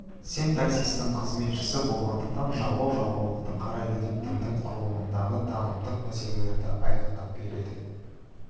синтаксистің қызметшісі болғандықтан жалғау жалғаулықты қарайды деп тілдің құрылымындағы танымдық мәселелерді айқындап береді